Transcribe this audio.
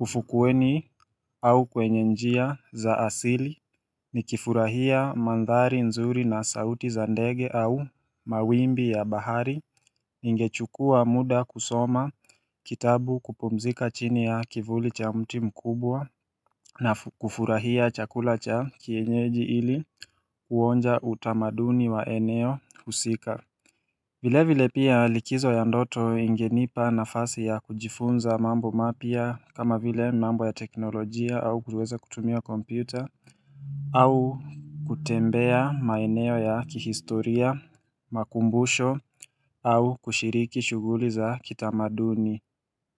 ufukuweni au kwenye njia za asili nikifurahia mandhari nzuri na sauti za ndege au mawimbi ya bahari ingechukua muda kusoma kitabu kupumzika chini ya kivuli cha mti mkubwa na kufurahia chakula cha kienyeji ili kuonja utamaduni wa eneo husika vile vile pia likizo ya ndoto ingenipa nafasi ya kujifunza mambo mapya kama vile mambo ya teknolojia au kuweza kutumia kompyuta au kutembea maeneo ya kihistoria, makumbusho au kushiriki shuguli za kitamaduni.